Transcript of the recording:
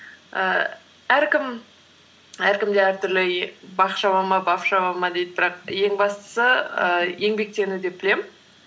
ііі әркімде әртүрлі бақ шаба ма бап шаба ма дейді бірақ ең бастысы ііі еңбектену деп білемін